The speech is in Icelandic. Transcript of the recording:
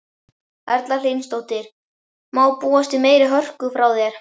Erla Hlynsdóttir: Má búast við meiri hörku frá þér?